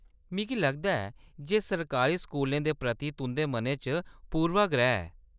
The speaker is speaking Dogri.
मिगी लगदा ऐ जे सरकारी स्कूलें दे प्रति तुंʼदे मनै च पूर्वाग्रह ऐ।